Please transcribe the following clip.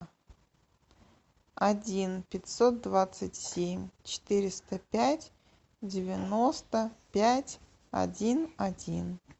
один пятьсот двадцать семь четыреста пять девяносто пять один один